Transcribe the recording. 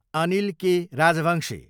Anil K. Rajbanshi